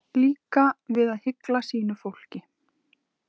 Líka við að hygla sínu fólki.